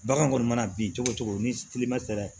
Bagan kɔni mana bin cogo cogo ni kilema sera